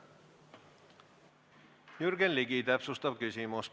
Jürgen Ligi, palun!